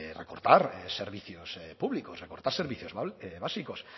recortar servicios públicos recortar servicios básicos